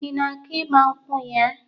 Ị na-aga ịgbankwụ ya?